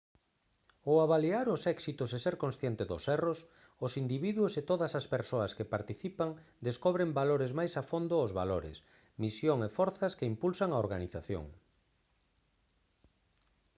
ao avaliar os éxitos e ser consciente dos erros os individuos e todas as persoas que participan descobren valores máis a fondo os valores misión e forzas que impulsan a organización